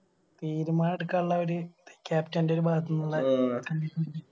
തീരുമാനം എടുക്കാനുള്ള ഒര് Captain ൻറെ ഒരു ഭാഗത്തുന്നുള്ള Commitment